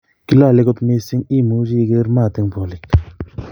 Kilole kot missing kiimuche iger maat en polik